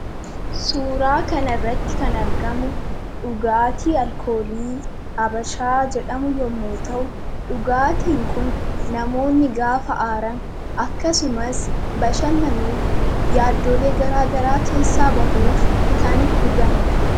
Suuraa kana irratti kan argamu, dhugaatii alkoolii Habashaa jedhamu yemmuu ta'u, dhugaatiin kun namoonni gaafa aaran akkasumas bashannanuuf, yaadolee garaagaraa keessaa bahuuf kan dhuganidha.